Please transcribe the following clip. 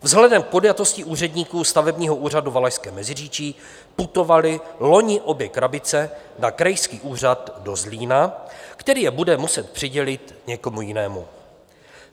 Vzhledem k podjatosti úředníků stavebního úřadu Valašské Meziříčí putovaly loni obě krabice na krajský úřad do Zlína, který je bude muset přidělit někomu jinému.